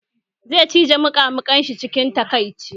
Zai cije muƙamuƙin shi cikin takaici